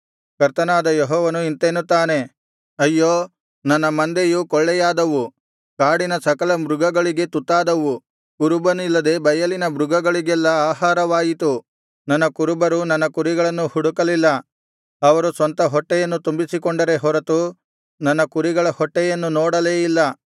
ಕರ್ತನಾದ ಯೆಹೋವನು ಇಂತೆನ್ನುತ್ತಾನೆ ಅಯ್ಯೋ ನನ್ನ ಮಂದೆಯು ಕೊಳ್ಳೆಯಾದವು ಕಾಡಿನ ಸಕಲ ಮೃಗಗಳಿಗೆ ತುತ್ತಾದವು ಕುರುಬನಿಲ್ಲದೆ ಬಯಲಿನ ಮೃಗಗಳಿಗೆಲ್ಲಾ ಆಹಾರವಾಯಿತು ನನ್ನ ಕುರುಬರು ನನ್ನ ಕುರಿಗಳನ್ನು ಹುಡುಕಲಿಲ್ಲ ಅವರು ಸ್ವಂತ ಹೊಟ್ಟೆಯನ್ನು ತುಂಬಿಸಿಕೊಂಡರೇ ಹೊರತು ನನ್ನ ಕುರಿಗಳ ಹೊಟ್ಟೆಯನ್ನು ನೋಡಲೇ ಇಲ್ಲ